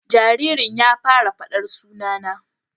Jaririn ya fara fada sunana